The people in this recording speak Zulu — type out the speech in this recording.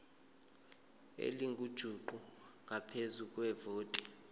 elingujuqu ngaphezu kwevoti